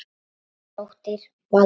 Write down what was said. Þín dóttir, Valdís.